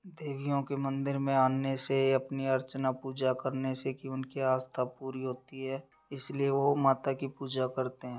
देवियों के मंदिर में आनने से अपने अर्चना पूजा करने से की उनकी आस्था पूरी होती है इसलिए वो माता की पूजा करते है।